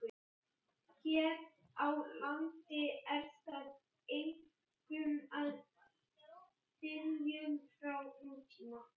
Hér á landi er það einkum í dyngjum frá nútíma.